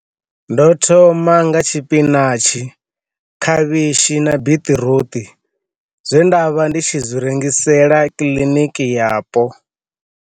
Ndo thoma nga tshipinatshi, khavhishi na biṱiruṱu zwe nda vha ndi tshi zwi rengisela kiḽiniki yapo. Ḓu